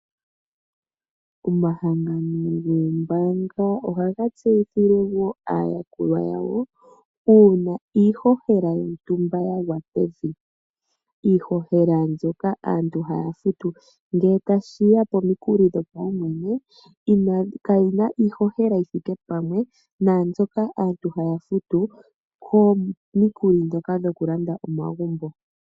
Omahangano gombaanga ohaga tseyithile wo aayakulwa yawo uuna iihohela yontumba ya gwa pevi. Iihohela mbyoka aantu haya futu ngele tashiya piihohela yooaumwene, inashi fa iihohela mbyoka aantu haya futu